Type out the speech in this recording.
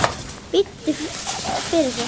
Biddu fyrir þér!